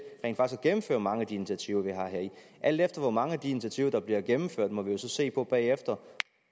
gennemføre mange af de initiativer vi og alt efter hvor mange af de initiativer der bliver gennemført må vi jo se på bagefter